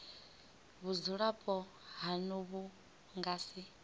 vhudzulapo hanu vhu nga si